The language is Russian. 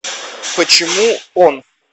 почему он